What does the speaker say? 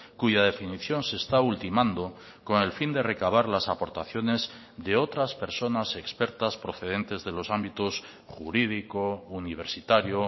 cuya definición se está ultimando con el fin de recabar las aportaciones de otras personas expertas procedentes de los ámbitos jurídico universitario